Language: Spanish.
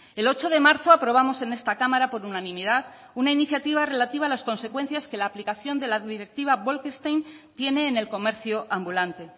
el ocho de marzo aprobamos en esta cámara por unanimidad una iniciativa relativa a las consecuencias que la aplicación de la directiva bolkestein tiene en el comercio ambulante